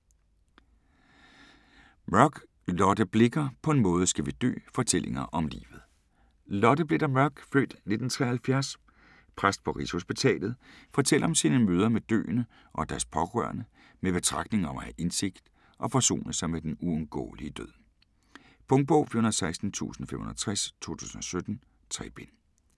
Mørk, Lotte Blicher: På en måde skal vi dø: fortællinger om livet Lotte Blicher Mørk (f. 1973), præst på Rigshospitalet, fortæller om sine møder med døende og deres pårørende, med betragtninger om at have indsigt og forsone sig med den uundgåelige død. Punktbog 416560 2017. 3 bind.